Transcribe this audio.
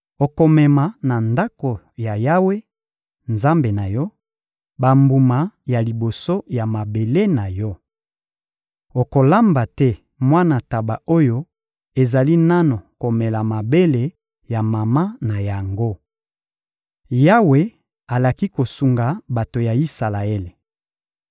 Okomema na Ndako ya Yawe, Nzambe na yo, bambuma ya liboso ya mabele na yo. Okolamba te mwana ntaba oyo ezali nanu komela mabele ya mama na yango. Yawe alaki kosunga bato ya Isalaele